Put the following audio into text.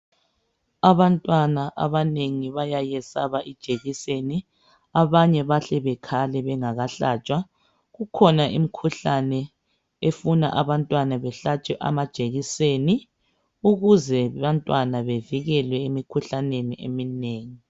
Abantwana abanengi bayayesaba ijekiseni, abanye bahle bekhale bengakahlatshwa. Kukhona imikhuhlane efuna abantwana behlatshwe amajekiseni ukuze abantwana bevikelwe emimkhuhlaneni eminengi.